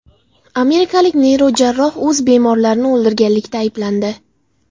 Amerikalik neyrojarroh o‘z bemorlarini o‘ldirganlikda ayblandi.